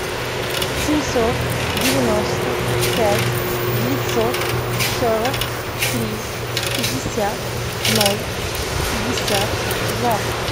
семьсот девяносто пять девятьсот сорок три пятьдесят ноль пятьдесят два